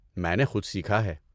میں نے خود سیکھا ہے۔